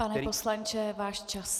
Pane poslanče, váš čas.